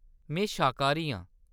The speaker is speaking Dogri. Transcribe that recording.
में शाकाहारी आं।